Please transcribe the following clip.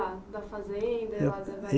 Da fazenda?